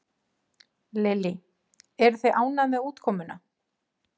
Lillý: Eruð þið ánægð með útkomuna?